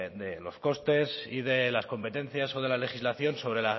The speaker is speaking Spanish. de los costes y de las competencias o de la legislación sobre